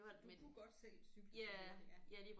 Du kunne godt selv cykle så hurtigt ja